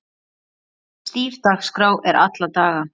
Stíf dagskrá er alla daga.